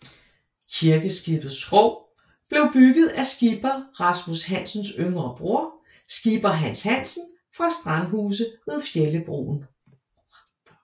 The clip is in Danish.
Kirkeskibets skrog blev bygget af Skipper Rasmus Hansens yngre broder Skipper Hans Hansen fra Strandhuse ved Fjellebroen